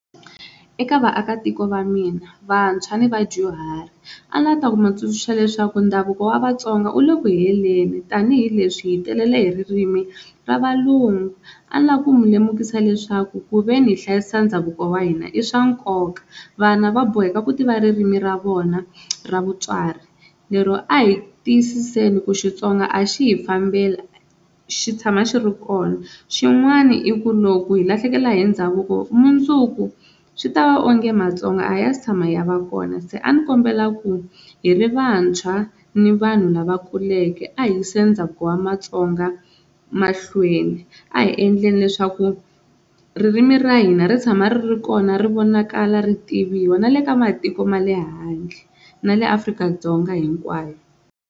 Eka vaakatiko va mina vantshwa ni vadyuhari a ni lava ku ta ku mi tsundzuxa leswaku ndhavuko wa Vatsonga wu le ku heleni tanihileswi hi telele hi ririmi ra valungu, a ni la ku mi lemukisa leswaku kuveni hi hlayisa ndhavuko wa hina i swa nkoka vana va boheka ku tiva ririmi ra vona ra vutswari lero a hi tiyisiseni ku Xitsonga a xi hi fambeli xi tshama xi ri kona, xin'wana i ku loko hi lahlekela hi ndhavuko mundzuku swi ta va onge Matsonga a ya se tshama ya va kona se a ni kombela ku hi ri vantshwa ni vanhu lava kuleke a hi yiseni ndhavuko wa matsonga mahlweni, a hi endleni leswaku ririmi ra hina ri tshama ri ri kona ri vonakala ri tiviwa na le ka matiko ma le handle na le Afrika-Dzonga hinkwayo.